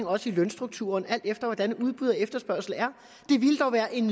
også i lønstrukturen alt efter hvordan udbud og efterspørgsel er det ville dog være en